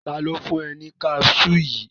Tani o fun ọ ni caṣuu yii?